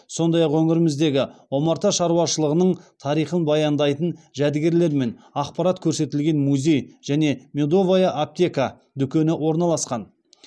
сондай ақ өңіріміздегі омарта шаруашылығының тарихын баяндайтын жәдігерлер мен ақпарат көрсетілген музей және медовая аптека дүкені орналасқан